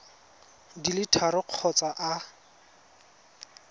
di le tharo kgotsa a